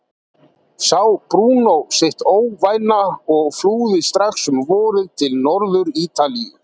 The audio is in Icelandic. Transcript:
Sá Brúnó sitt óvænna og flúði strax um vorið til Norður-Ítalíu.